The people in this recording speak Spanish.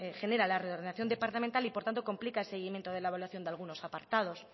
genera la reordenación departamental y por tanto complica el seguimiento de la evaluación de algunos apartados